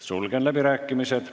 Sulgen läbirääkimised.